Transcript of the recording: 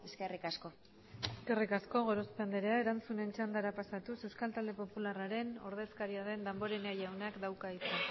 eskerrik asko eskerrik asko gorospe andrea erantzunen txandara pasatuz euskal talde popularraren ordezkaria den damborenea jaunak dauka hitza